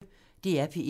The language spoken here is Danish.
DR P1